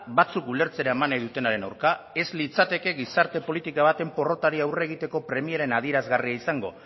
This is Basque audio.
batzuk ulertzera eman nahi dutenaren aurka ez litzateke gizarte politika baten porrotari aurre egiteko premien adierazgarria izango